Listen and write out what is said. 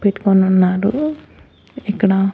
పెట్టుకొనున్నాడు ఇక్కడ--